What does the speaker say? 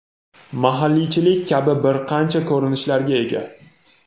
mahalliychilik kabi bir qancha ko‘rinishlarga ega.